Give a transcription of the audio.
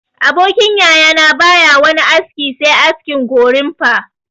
Abokin yaya na ba ya wani aski se askin gorimfa